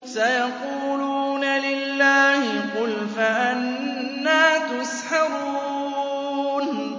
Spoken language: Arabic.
سَيَقُولُونَ لِلَّهِ ۚ قُلْ فَأَنَّىٰ تُسْحَرُونَ